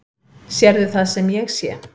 Sérðu það sem ég sé?